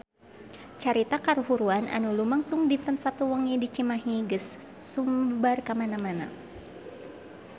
Carita kahuruan anu lumangsung dinten Saptu wengi di Cimahi geus sumebar kamana-mana